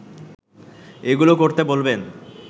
এগুলো করতে বলবেন